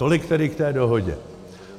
Tolik tedy k té dohodě.